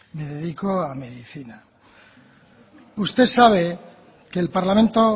me dedico a medicina usted sabe que el parlamento